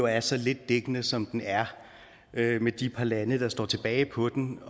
er så lidt dækkende som den er med de par lande der står tilbage på den